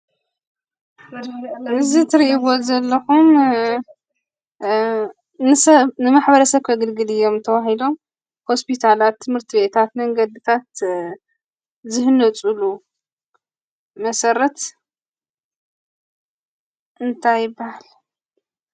እዚ ትሪእዎ ዘለኹም ንማሕበረሰብ ከገልግሉ እዮም ተባሂሎምሆስፒታላት፣ ትምህርቲ ቤታት፣ መንገድታት ዝህነፅሉ መሰረት እንታይ ይበሃል?